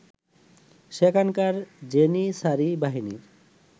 সেখানকার জেনিসারী বাহিনীর